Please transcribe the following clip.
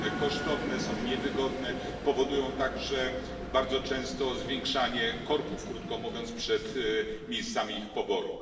Są one kosztowne, są niewygodne, powodują także bardzo często zwiększanie korków, krótko mówiąc, przed miejscami ich poboru.